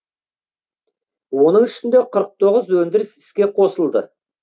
оның ішінде өндіріс іске қосылды